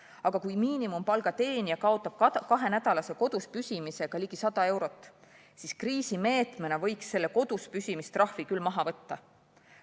Aga kui miinimumpalga teenija kaotab kahenädalase koduspüsimise tagajärjel ligi 100 eurot, siis kriisimeetmena võiks selle koduspüsimise trahvi küll maha võtta.